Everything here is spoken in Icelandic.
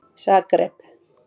Zagreb